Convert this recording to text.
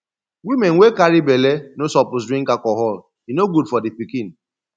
women wey carry belle no suppose drink alcohol e no good for di pikin